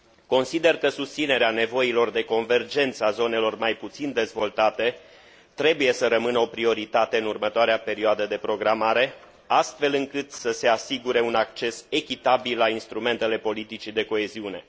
Consider că susținerea nevoilor de convergență a zonelor mai puțin dezvoltate trebuie să rămână o prioritate în următoarea perioadă de programare, astfel încât să se asigure un acces echitabil la instrumentele politicii de coeziune.